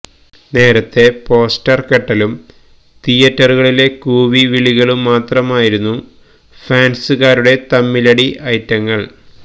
നേരത്തേ പോസ്റ്റര് കെട്ടലും തിയേറ്ററുകളിലെ കൂവിവിളികളും മാത്രമായിരുന്നു ഫാന്സുകാരുടെ തമ്മിലടി ഐറ്റങ്ങള്